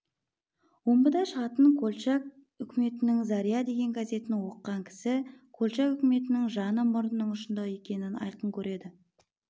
омбыда шығатын колчак үкіметінің заря деген газетін оқыған кісі колчак үкіметінің жаны мұрынының ұшында екенін айқын көреді